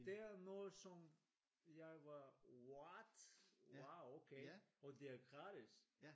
Det er noget som jeg var what wow okay og det er gratis